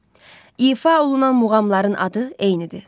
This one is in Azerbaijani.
İfa olunan muğamların adı eynidir.